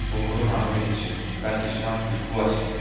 বহুতো মানুহ দেখিছোঁ তাত কিছুমান শিশু আছে।